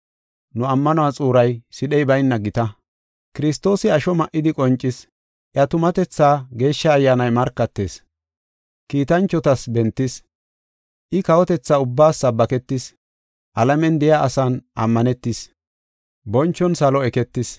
Nu ammanuwa xuuray sidhey bayna gita. Kiristoosi asho ma7idi qoncis; Iya tumatethaa Geeshsha Ayyaanay markatis. Kiitanchotas bentis; I kawotetha ubbaas sabbaketis. Alamen de7iya asan ammanetis; bonchon salo eketis.